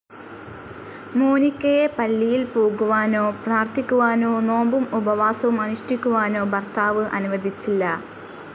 മോനിക്കയെ പള്ളിയിൽ പോകുവാനോ പ്രാർഥിക്കുവാനോ നോമ്പും ഉപവാസവും അനുഷ്ഠിക്കുവാനോ ഭർത്താവ് അനുവദിച്ചില്ല.